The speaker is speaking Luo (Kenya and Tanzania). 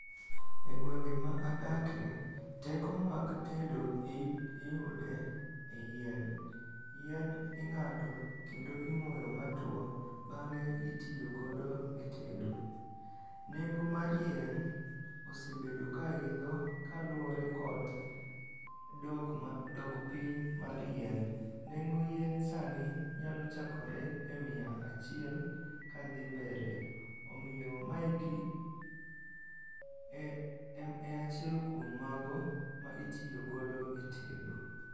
E gwenge ma adake, teko mag tedo iyude e yien. Yien ing'ado kendo imoyo matwo, bang'e itiyo godo e tedo. Nengo mar yien osebedo ka idho kaluwore kod dok ma dok piny mar yien. Nengo yien sani nyalo chakore e mia achiel kadhi mbele. Omiyo maeki e achiel kuom mago ma itiyogodo e tedo.